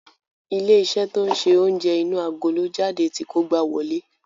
Ilé-iṣẹ́ to ń ṣe oúnjẹ inú agolo jáde ti kógbá wọlé.